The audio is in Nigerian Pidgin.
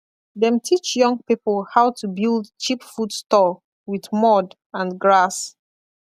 dem teach young people how to build cheap food store with mud and grass